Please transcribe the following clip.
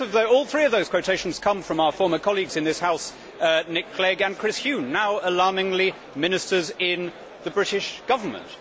All three of those quotations come from our former colleagues in this House, Nick Clegg and Chris Huhne now, alarmingly, ministers in the British Government.